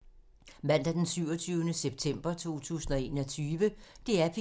Mandag d. 27. september 2021